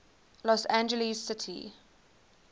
los angeles city